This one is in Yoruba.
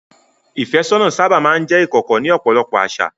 Ìfẹ́sọ́nà sábà máa ń jẹ́ ìkọ̀kọ̀ ní ọ̀pọ̀lọpọ̀ àṣà.